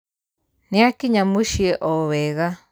Nĩakinya mũciĩo wega.